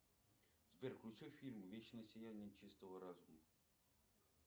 сбер включи фильм вечное сияние чистого разума